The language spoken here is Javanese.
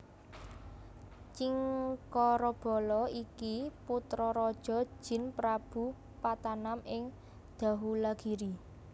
Cingkarabala iki putra raja jin Prabu Patanam ing Dahulagiri